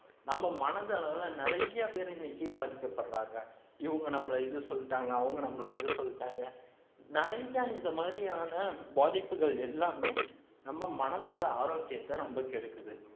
நம்ம மனதளவுல நிறைய பேர் இன்னைக்கு பாதிக்கப்படுறாங்க இவங்க நம்மளை இது சொல்லிட்டாங்க அவங்க நம்மளை இது சொல்லிட்டாங்க நிறைய இந்த மாதிரியான பாதிப்புகள் எல்லாமே நம்ம மனதோட ஆரோக்கியத்தை ரொம்ப கெடுக்குது